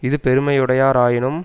இது பெருமையுடையாராயினும்